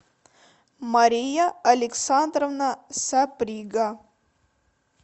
мария александровна саприга